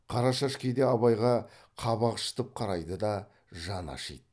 қарашаш кейде абайға қабақ шытып қарайды да жаны ашиды